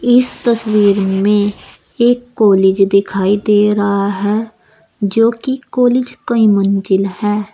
इस तस्वीर में एक कॉलेज दिखाई दे रहा है जो की कॉलेज कई मंजिल है।